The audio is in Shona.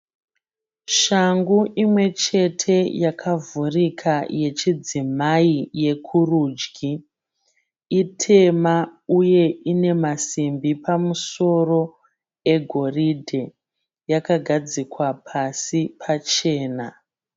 Shangu imwe chete yakavhurika yechidzimai yekurudyi itema uye ine masimbi pamusoro egoridhe. Yakagadzikwa pasi pachena.